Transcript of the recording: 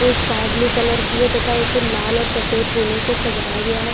Sky blue colour की है तथा उसे लाल और सफेद कलर से सजाया गया है।